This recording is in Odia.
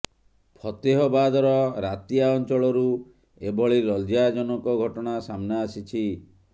ଫତେହବାଦର ରାତିଆ ଅଞ୍ଚଳରୁ ଏଭଳି ଲଜ୍ଜାଜନକ ଘଟଣା ସାମ୍ନା ଆସିଛି